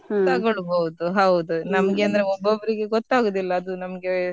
ತಗೋಲ್ಬಾಹುದು ಹೌದು. ನಮ್ಗೆ ಅಂದ್ರೆ ಒಬಬ್ರಿಗೆ ಗೂತ್ತಾಗೊದಿಲ್ಲ ಅದು ನಮ್ಗೆ.